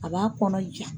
A b'a kɔnɔ ja